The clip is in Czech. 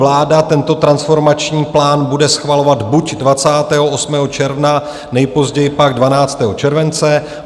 Vláda tento transformační plán bude schvalovat buď 28. června, nejpozději pak 12. července.